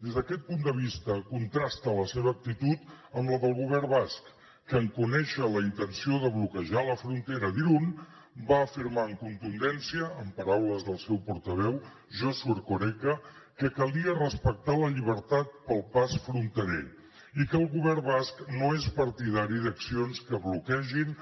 des d’aquest punt de vista contrasta la seva actitud amb la del govern basc que en conèixer la intenció de bloquejar la frontera d’irun va afirmar amb contundència en paraules del seu portaveu josu erkoreka que calia respectar la llibertat pel pas fronterer i que el govern basc no és partidari d’accions que bloquegin